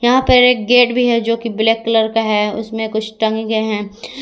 यहां पर एक गेट भी है जो की ब्लैक कलर का है उसमें कुछ टंगे गए हैं।